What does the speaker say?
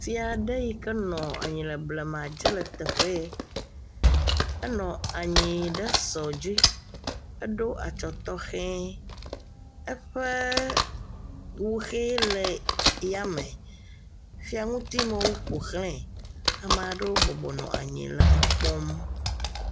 Fia aɖe yi ke nɔ anyi le blema dze le teƒe ya. enɔ anyi ɖe sɔ dzi eɖo atsɔ tɔxɛ. Eƒe wuxɛ le yame. Fiaŋutimewo ƒoxlae. Ame aɖewo bɔbɔnɔ anyi le ekpɔm.